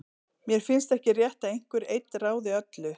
Mér finnst ekki rétt að einhver einn ráði öllu.